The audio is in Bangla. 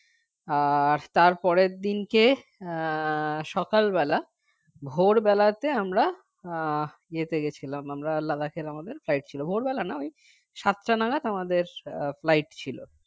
আর তারপরের দিনকে আহ সকালবেলা ভোরবেলাতে আমরা আহ ইয়েতে গেছিলাম আমরা Ladakh এর আমাদের flight ছিল ভোরবেলা না ওই সাতটা নাগাদ আমাদের আহ flight ছিল